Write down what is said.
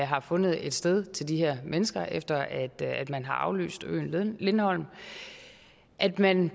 har fundet et sted til de her mennesker efter at man har aflyst øen lindholm at man